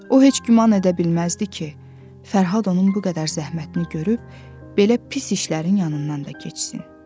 O heç güman edə bilməzdi ki, Fərhad onun bu qədər zəhmətini görüb belə pis işlərin yanından da keçsin.